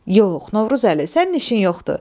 Yox, Novruzəli, sənin işin yoxdur.